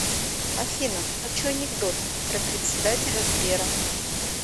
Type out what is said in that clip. афина хочу анекдот про председателя сбера